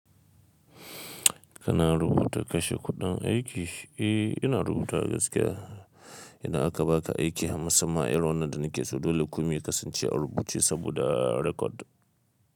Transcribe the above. Kana rubuta kashe kuɗin aiki? Eh, ina rubuta wa gaskiya. Idan aka baka aiki, musamman a irin wannan da na ke so. Dole komi ya kasance a rubuce saboda record.